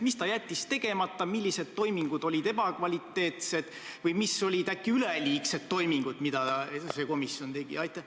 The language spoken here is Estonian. Mis ta jättis tegemata, millised toimingud olid ebakvaliteetsed või mis toimingud olid äkki üleliigsed, mida see komisjon tegi?